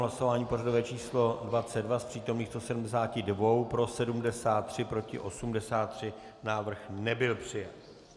Hlasování pořadové číslo 22, z přítomných 172, pro 73, proti 83, návrh nebyl přijat.